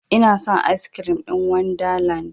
Inason askirim ɗin wanda land